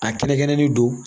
A kɛnɛkɛnɛ nin don